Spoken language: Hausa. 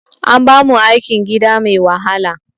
An bamu aikin gida mai wahala